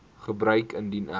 gebeur indien ek